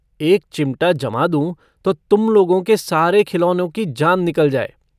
एक चिमटा जमा दूंँ तो तुम लोगों के सारे खिलौनों की जान निकल जाय।